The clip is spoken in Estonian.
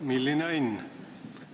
Milline õnn!